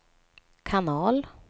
kanal